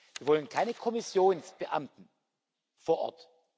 Wir wollen keine Kommissionsbeamten vor Ort.